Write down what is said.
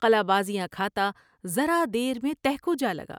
قلابازیاں کھا تا ذرا دیر میں تہ کو جالگا ۔